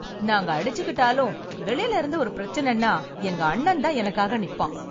நாங்க அடிச்சுக்கிட்டாலும் வெளியில இருந்து ஒரு பிரச்சனைன்னா எங்க அண்ணன் தான் எனக்காக நிப்பான்.